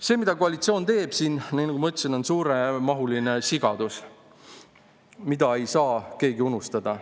See, mida koalitsioon teeb siin, nagu ma ütlesin, on suuremahuline sigadus, mida ei saa keegi unustada.